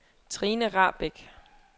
Trine Rahbek